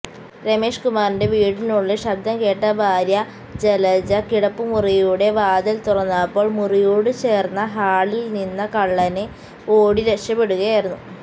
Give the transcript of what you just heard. രമേശ്കുമാറിന്റെ വീടിനുള്ളില് ശബ്ദംകേട്ട ഭാര്യ ജലജ കിടപ്പുമുറിയുടെ വാതില് തുറന്നപ്പോള് മുറിയോടുചേര്ന്ന ഹാളില്നിന്നകള്ളന് ഓടി രക്ഷപ്പെടുകയായിരുന്നു